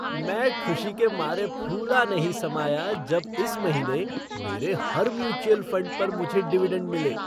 मैं खुशी के मारे फूला नहीं समाया जब इस महीने मेरे हर म्यूचुअल फ़ंड पर मुझे डिविडेंड मिले।